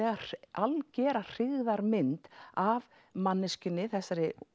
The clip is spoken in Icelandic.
algjöra hryggðarmynd af manneskjunni þessari